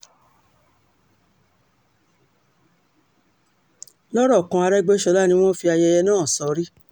lọ́rọ̀ kan àrégbé ni wọ́n fi ayẹyẹ náà sórí